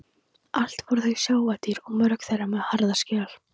Allt voru þetta sjávardýr og mörg þeirra með harða skel.